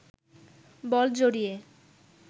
বল জড়িয়ে